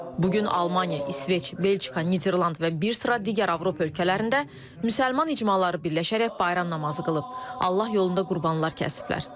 Bu gün Almaniya, İsveç, Belçika, Niderland və bir sıra digər Avropa ölkələrində müsəlman icmaları birləşərək bayram namazı qılıb, Allah yolunda qurbanlar kəsiblər.